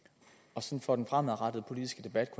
procent for den fremadrettede politiske debats